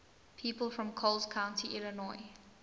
people from coles county illinois